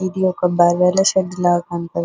ఇది ఒక భాగాల షెడ్ లాగా కనపడుతుంది.